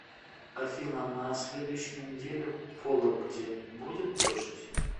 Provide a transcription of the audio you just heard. афина на следующей неделе в вологде будет дождь